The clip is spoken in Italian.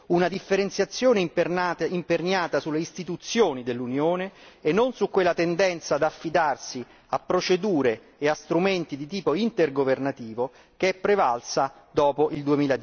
Una differenziazione imperniata sulle istituzioni dell'Unione e non su quella tendenza ad affidarsi a procedure e a strumenti di tipo intergovernativo che è prevalsa dopo il